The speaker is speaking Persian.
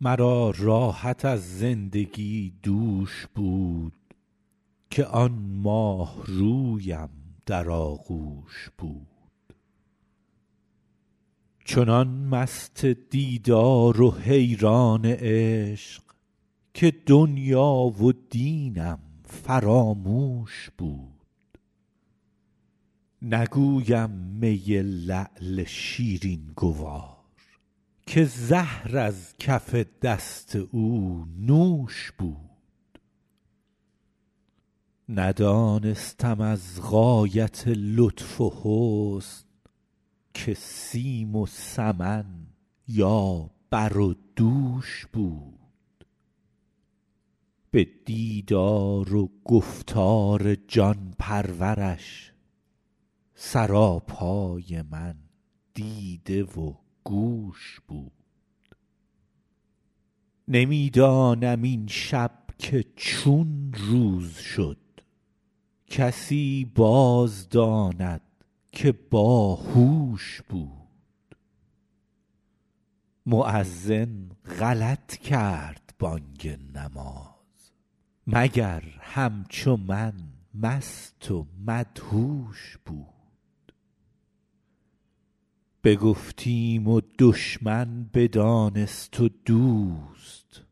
مرا راحت از زندگی دوش بود که آن ماهرویم در آغوش بود چنان مست دیدار و حیران عشق که دنیا و دینم فراموش بود نگویم می لعل شیرین گوار که زهر از کف دست او نوش بود ندانستم از غایت لطف و حسن که سیم و سمن یا بر و دوش بود به دیدار و گفتار جان پرورش سراپای من دیده و گوش بود نمی دانم این شب که چون روز شد کسی باز داند که با هوش بود مؤذن غلط کرد بانگ نماز مگر همچو من مست و مدهوش بود بگفتیم و دشمن بدانست و دوست